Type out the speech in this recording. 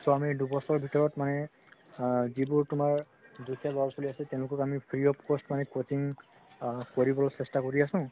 so আমি দুবছৰ ভিতৰত মানে আ যিবোৰ তুমাৰ দুখীয়া লৰা ছোৱালি আছে তেওঁলোকক আমি free of cost মানে coaching আ কৰিবলৈ চেষ্টা কৰি আছো